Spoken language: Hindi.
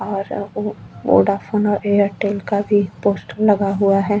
और वोडाफोन और एयरटेल का भी पोस्ट लगा हुआ है।